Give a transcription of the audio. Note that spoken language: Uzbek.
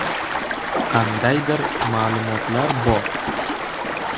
Qandaydir ma’lumotlar bor.